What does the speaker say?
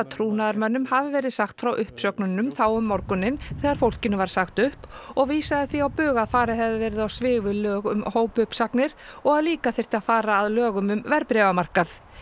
trúnaðarmönnum hafi verið sagt frá uppsögnunum þá um morguninn þegar fólkinu var sagt upp og vísaði því á bug að farið hefði verið á svig við lög um hópuppsagnir og að líka þyrfti að fara að lögum um verðbréfamarkað